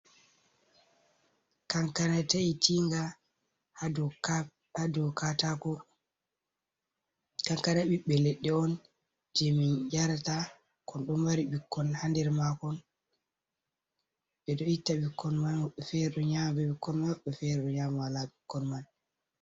Kankana taitinga ha dou katako, kankana ɓiɓɓe leɗɗe on je min yarata, kon ɗon mari ɓikkon ha nder makon, ɓe ɗo itta ɓikkoi, fere ɗo nyama be ɓikkon maɓɓe, fere ɗo nyama wala ɓikkon man.